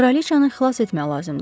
Kraliçanı xilas etmək lazımdır.